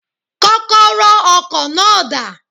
Kókóró ọkò náà dà?